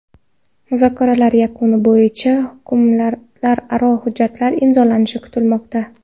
Muzokaralar yakunlari bo‘yicha hukumatlararo hujjatlar imzolanishi kutilmoqda.